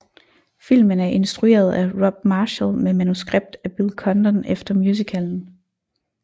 Filmen er instrueret af Rob Marshall med manuskript af Bill Condon efter musicalen